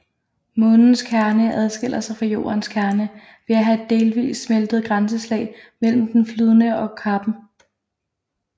Månens kerne adskiller sig fra Jordens kerne ved at have et delvist smeltet grænselag mellem den flydende kerne og kappen